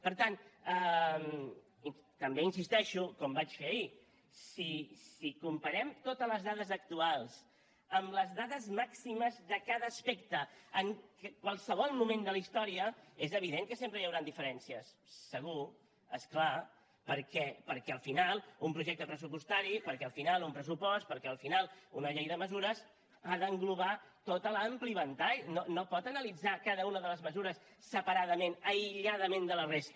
per tant també hi insisteixo com vaig fer ahir si comparem totes les dades actuals amb les dades màximes de cada aspecte en qualsevol moment de la història és evident que sempre hi hauran diferències segur és clar perquè al final un projecte pressupostari perquè al final un pressupost perquè al final una llei de mesures ha d’englobar tot l’ampli ventall no pot analitzar cada una de les mesures separadament aïlladament de la resta